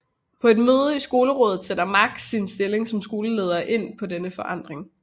På et møde i Skolerådet sætter Max sin stilling som skoleleder ind på denne forandring